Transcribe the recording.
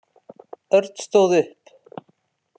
Örn stóð upp.